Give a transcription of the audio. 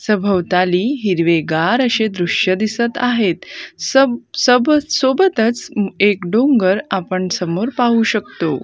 सभोवताली हिरवेगार अशे दृश्य दिसत आहेत सब सबच सोबतच एक डोंगर आपण समोर पाहू शकतो.